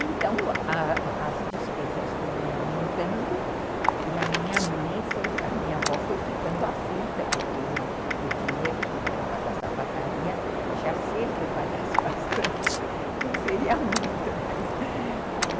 Então, as as despesas foram aumentando e a minha avó foi ficando aflita, porque o dinheiro que entrava da sapataria, já se ele trabalhasse bastante, não seria muito.